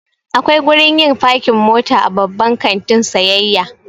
Akwai gurin yin fakin mota a Babban kantin sayayya.